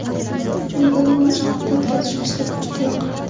Menga uning mashg‘ulot o‘tkazish uslubi juda yoqardi.